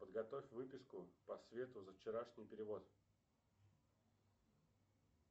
подготовь выписку по свету за вчерашний перевод